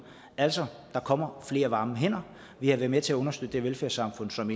altså der kommer flere varme hænder vi har været med til at understøtte det velfærdssamfund som